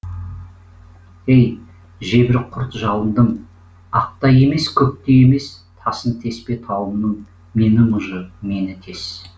ей жебір құрт жалындым ақ та емес көк те емес тасын теспе тауымның мені мұжы мені тес